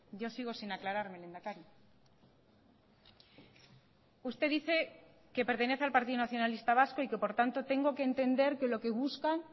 yo sigo sin aclararme lehendakari usted dice que pertenece al partido nacionalista vasco y que por tanto tengo que entender que lo que buscan